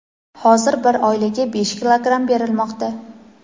hozir bir oilaga besh kilogramm berilmoqda.